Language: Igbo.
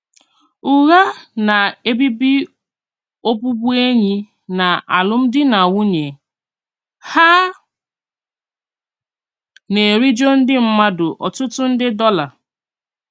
Ùghà na-èbíbì òbụ̀bụ̀énỳì nà àlụ́mdìnànwùnyè; hà na-èrìjò ndí mmádụ̀ ọ̀tụ̀tụ̀ ndè dollar.